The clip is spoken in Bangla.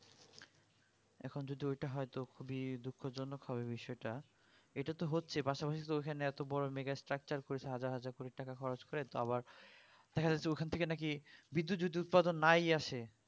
এখন যদি ঐটা হয় তো খুবই দুঃখজনক হবে বিষয়টা এইটা তো হচ্ছে পাশাপাশি তো ঐখানে এতবড়ো mega structure করেছে হাজার হাজার কোটি টাকা খরচ করে তাও আবার ঐখান থেকে যদি বিদ্যুৎ যদি উৎপাদন না ই আসে